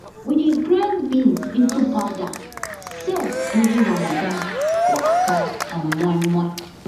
we dey grind beans into powder sell during ramadan for akara and moinmoin